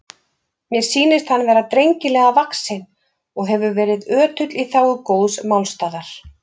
Mér sýnist hann vera drengilega vaxinn og hefur verið ötull í þágu góðs málstaðar.